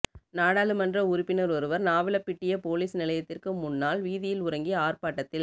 நாடாளுமன்ற உறுப்பினர் ஒருவர் நாவலப்பிட்டிய பொலிஸ் நிலையத்திற்கு முன்னால் வீதியில் உறங்கி ஆர்ப்பாட்டத்தில்